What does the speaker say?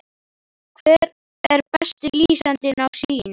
Hver er besti lýsandinn á Sýn?